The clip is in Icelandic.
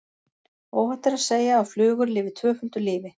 Óhætt er að segja að flugur lifi tvöföldu lífi.